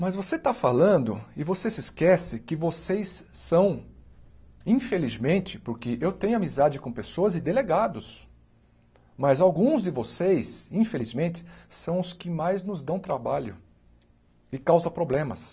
Mas você está falando e você se esquece que vocês são, infelizmente, porque eu tenho amizade com pessoas e delegados, mas alguns de vocês, infelizmente, são os que mais nos dão trabalho e causam problemas.